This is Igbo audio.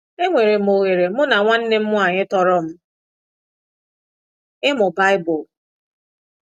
Enwere m oghere mụ na nwanne m nwanyị tọrọ m ịmụ baịbụl.